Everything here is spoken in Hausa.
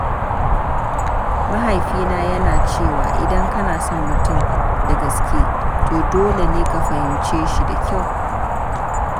Mahaifina yana cewa "idan kana son mutum da gaske, to dole ne ka fahimce shi da kyau."